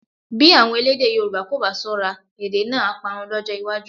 Bí àwọn elédè Yorùbá kò bá ṣọ́ra, èdè náà á parun lọ́jọ́ iwájú